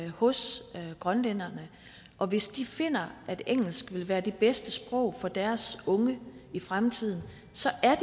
hos grønlænderne og hvis de finder at engelsk ville være det bedste sprog for deres unge i fremtiden